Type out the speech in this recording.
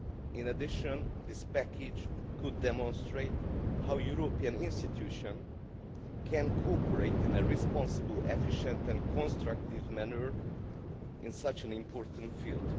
In addition, this package could demonstrate how European institutions can cooperate in a responsible, efficient and constructive manner in such an important field.